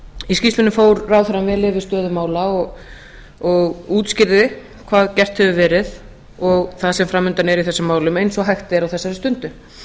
í skýrslunni fór ráðherrann afar vel yfir stöðu mála og útskýrði hvað gert hefur verið og það sem fram undan er í þessum málum eins og hægt er á þessari stundu